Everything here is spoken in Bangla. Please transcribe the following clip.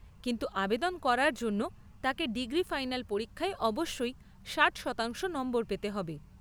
কিন্তু আবেদন করার জন্য তাকে ডিগ্রি ফাইনাল পরীক্ষায় অবশ্যই ষাট শতাংশ নম্বর পেতে হবে।